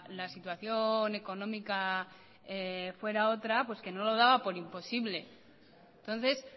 la situación económica fuera otra que no lo daba por imposible entonces